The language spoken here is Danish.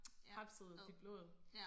Hapset dit blod